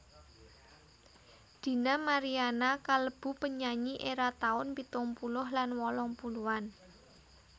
Dina Mariana kalebu penyanyi éra taun pitung puluh lan wolung puluhan